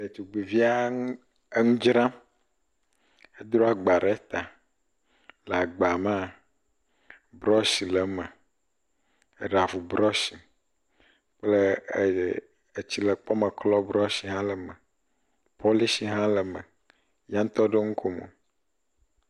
Ɖetugbivia eŋu dzram. Ekɔ agba ɖe ta. Le agba mea, brɔshi le eme, eɖavu brɔshi le eme kple etsile tɔ brɔshi hã le eme, pɔlishi hã le eme, ya ŋutɔ ɖo nukɔ mɔ.